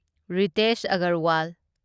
Ritesh Agarwal